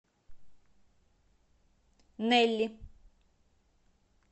нелли